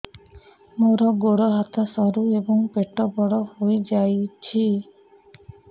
ମୋର ଗୋଡ ହାତ ସରୁ ଏବଂ ପେଟ ବଡ଼ ହୋଇଯାଇଛି